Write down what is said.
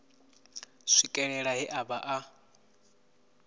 swikelela he a vha a